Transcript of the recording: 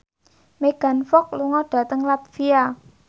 Megan Fox lunga dhateng latvia